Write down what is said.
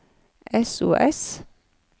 sos